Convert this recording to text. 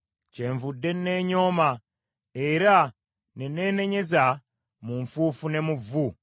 Kyenvudde neenyooma era neenenyezza mu nfuufu ne mu vvu.”